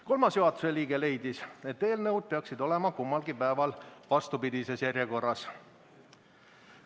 Kolmas juhatuse liige leidis, et eelnõud peaksid olema mõlemal päeval vastupidises järjekorras.